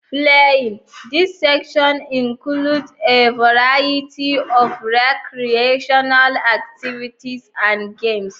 Playing: This section includes a variety of recreational activities and games.